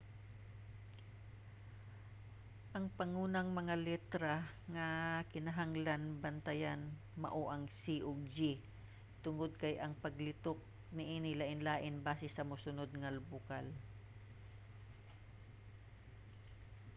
ang pangunang mga letra nga kinahanglan bantayan mao ang c ug g tungod kay ang paglitok niini lainlain basi sa mosunod nga bokal